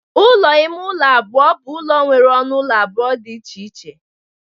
Ụlọ ime ụlọ. abụọ bụ ụlọ nwere ọnụ ụlọ abụọ dị iche iche